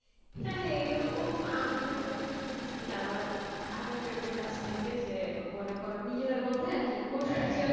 হ্যাঁ হ্যাঁ এরকম আমিও শুনছি আমার আরেক friend এর কাছ থেকে যে মনে করো নিজেদের মধ্যে আর কি